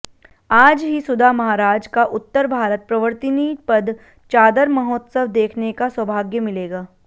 आज ही सुधा महाराज का उत्तर भारत प्रवर्तिनी पद चादर महोत्सव देखने का सौभाग्य मिलेगा